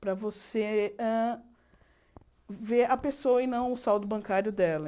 Para você ah ver a pessoa e não o saldo bancário dela.